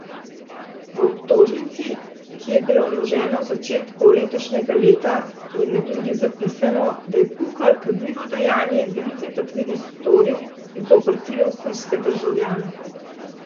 V obtožnici, ki je bila vložena v začetku letošnjega leta, je med drugim zapisano, da je Pukl kaznivo dejanje velike tatvine storil zoper tri avstrijske državljane.